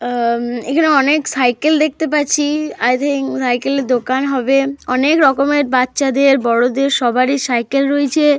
আ এখানে অনেক সাইকেল দেখতে পাচ্ছি। আই থিঙ্ক সাইকেলের দোকান হবে। অনেক রকমের বাচ্চাদের বড়দের সবারই সাইকেল রয়েছে।